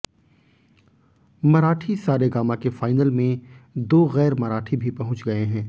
मराठी सारेगामा के फाईनल में दो गैर मराठी भी पहुंय गए हैं